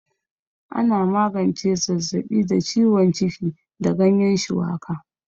Ana magance zazzaɓi da ciwon ciki da ganyan shuwaka